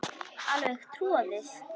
Alveg troðið.